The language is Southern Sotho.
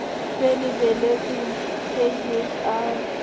se lebelletsweng k h r